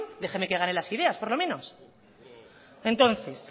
déjeme que gane las ideas por lo menos entonces